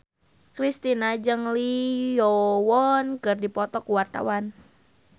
Kristina jeung Lee Yo Won keur dipoto ku wartawan